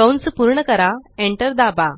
कंस पूर्ण करा Enter दाबा